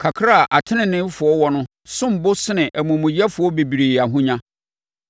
Kakra a ateneneefoɔ wɔ no som bo sene amumuyɛfoɔ bebree ahonya;